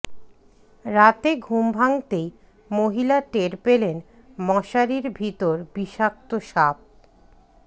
রাতে ঘুম ভাঙতেই মহিলা টের পেলেন মশারির ভিতর বিষাক্ত সাপ